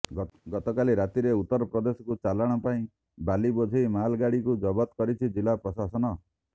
ଗତକାଲି ରାତିରେ ଉତ୍ତର ପ୍ରଦେଶକୁ ଚାଲାଣ ପାଇଁ ବାଲି ବୋଝେଇ ମାଲଗାଡ଼ିକୁ ଜବତ କରିଛି ଜିଲ୍ଲା ପ୍ରଶାସନ